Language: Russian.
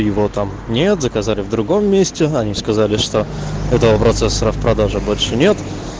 его там нет заказать в другом месте они сказали что этого процесса распродажа больше нет